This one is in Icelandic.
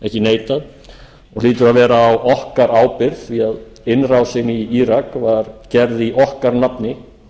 að vera á okkar ábyrgð því innrásin í írak var gerð í okkar nafni